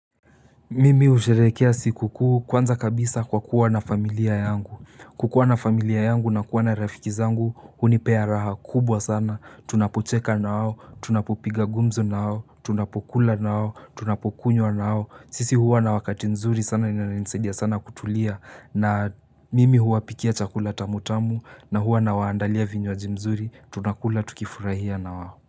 Mimi usherehekea siku kuu kwanza kabisa kwa kuwa na familia yangu. Kukuwa na familia yangu na kuwa na rafiki zangu, hunipea raha kubwa sana. Tunapocheka na hao, tunapopiga gumzo na hao, tunapokula na hao, tunapokunywa na hao. Sisi huwa na wakati nzuri sana inani saidia sana kutulia na mimi huwa pikia chakula tamutamu na huwa na waandalia vinywaji mzuri, tunakula tukifurahia na wao.